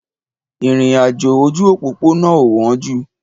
Ìrìn àjò ojú òpópónà ò wọ́n jù